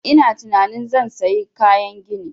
Ina tunanin zan sayi kayan gini